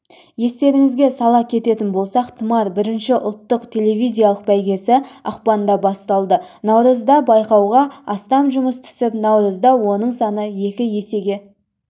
естеріңізге сала кететін болсақ тұмар бірінші ұлттық телевизиялық бәйгесі ақпанда басталды наурызда байқауға астам жұмыс түсіп наурызда оның саны екі есеге